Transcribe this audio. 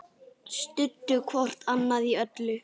Studdu hvort annað í öllu.